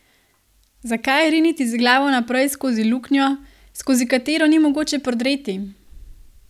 Zakaj riniti z glavo naprej skozi luknjo, skozi katero ni mogoče prodreti?